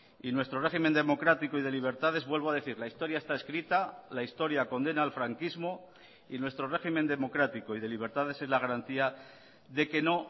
y nuestro régimen democrático y de libertades vuelvo a decir la historia está escrita la historia condena al franquismo y nuestro régimen democrático y de libertades es la garantía de que no